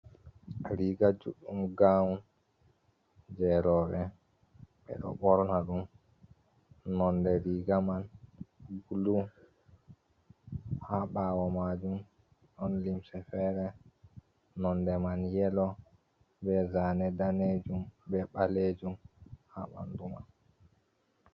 Riga juddum gawun jerobe, be do borna dum nonde riga man bulu ha bawo majum don limse fere nonde man yelo be zane danejum be balejum ha bandu man.